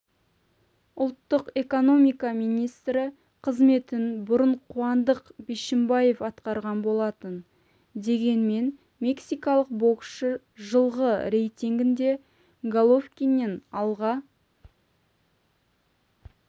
ұлттық экономика министрі қызметін бұрын қуандық бишімбаев атқарған болатын дегенмен мексикалық боксшы жылғы рейтингінде головкиннен алға